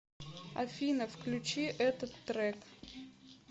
афина включи этот трек